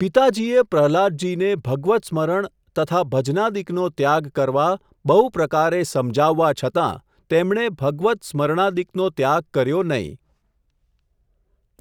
પિતાજીએ પ્રહલ્લાદજીને ભગવત્સમરણ તથા ભજનાદિકનો ત્યાગ કરવા, બહુ પ્રકારે સમજાવવા છતાં, તેમણે ભગવત સ્મરણાદિકનો ત્યાગ કર્યો નહિ.